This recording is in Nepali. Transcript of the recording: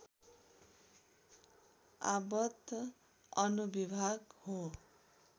आपद् अनुविभाग हो